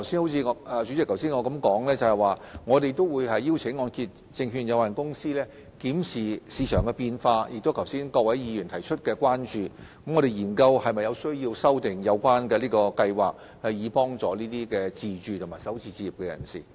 不過，主席，正如我剛才所說，我們會邀請按揭證券公司檢視市場變化，以及各位議員剛才提出的關注事項，研究是否有需要修訂按保計劃，以幫助首次置業自住人士。